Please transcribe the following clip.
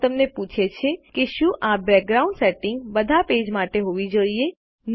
draw તમને પૂછે છે કે શું આ બેકગ્રાઉન્ડ સેટિંગ બધા પેજ માટે હોવી જોઈએ